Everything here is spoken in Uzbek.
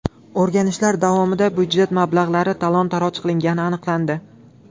O‘rganishlar davomida budjet mablag‘lari talon-toroj qilingani aniqlandi.